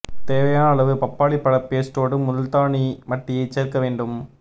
தேவையான அளவு பப்பாளி பழ பேஸ்டோடு முல்தானி மட்டியை சேர்க்க வேண்டும்